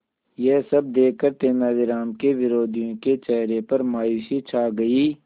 यह सब देखकर तेनालीराम के विरोधियों के चेहरे पर मायूसी छा गई